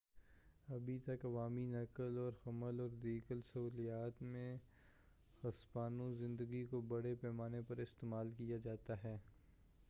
ابھی تک عوامی نقل و حمل اور دیگر سہولیات میں ہسپانوی زبان کو بڑے پیمانے پر استعمال کیا جاتا ہے